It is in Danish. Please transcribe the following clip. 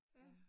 Ja